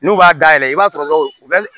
N'u b'a dayɛlɛ i b'a sɔrɔ u bɛ